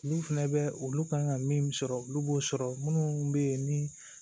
N'u fɛnɛ bɛ olu kan ka min sɔrɔ olu b'o sɔrɔ minnu bɛ yen ni